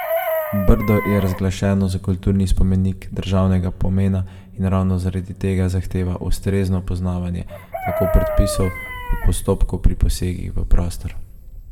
Brdo je razglašeno za kulturni spomenik državnega pomena in ravno zaradi tega zahteva ustrezno poznavanje tako predpisov kot postopkov pri posegih v prostor.